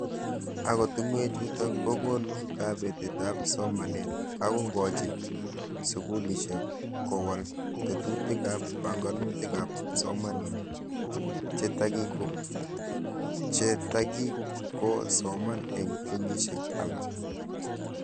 Ako tungwek chutok kokonu kabete ab somanet ako kochin Sukulishek kowal tetutik ab panganutik ab psomaninik che taki kikako soman eng kenyishek alak.